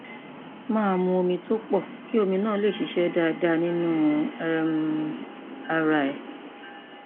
máa mu omi tó pọ kí omi náà lè ṣiṣẹ dáadáa nínú um ara rẹ